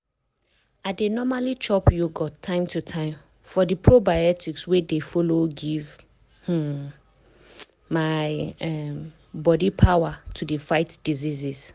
i dey normally chop yogurt time to time for di probiotics wey dey follow give um my um body power to dey fight diseases.